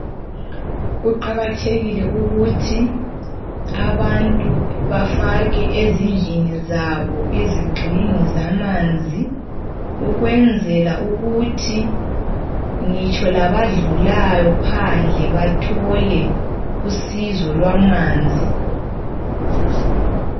Kuqakathekile ukuthi abantu bafake ezindlini zabo izigxingi zamanzi. Ukwenzela ukuthi ngitsho labadlulayo phandle, bathole usizo lwamanzi.